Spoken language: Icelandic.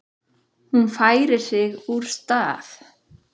Hún færir sig úr stað.